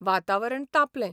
वातावरण तापलें.